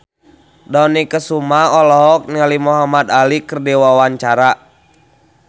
Dony Kesuma olohok ningali Muhamad Ali keur diwawancara